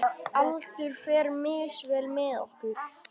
Aldur fer misvel með okkur.